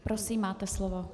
Prosím, máte slovo.